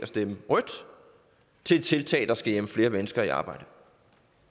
stemme rødt til et tiltag der skal hjælpe flere mennesker i arbejde